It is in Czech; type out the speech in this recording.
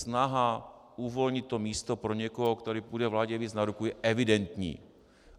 Snaha uvolnit to místo pro někoho, kdo půjde vládě víc na ruku, je evidentní.